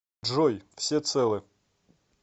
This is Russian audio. джой все целы